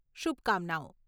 શુભકામનાઓ.